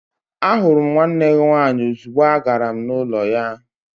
Ahụrụ m nwanne gị nwaanyị ozugbo agara m n'ụlọ ya.